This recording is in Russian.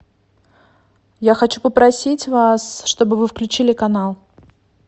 я хочу попросить вас чтобы вы включили канал